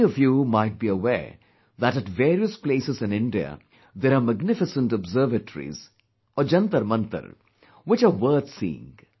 Many of you might be aware that at various places in India, there are magnificent observatories Jantar Mantars which are worth seeing